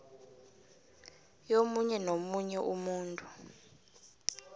yomunye nomunye umuntu